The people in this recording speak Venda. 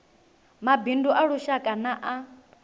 mabindu a lushaka na a